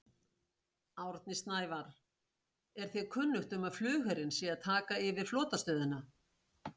Árni Snævarr: Er þér kunnugt um að flugherinn sé að taka yfir flotastöðina?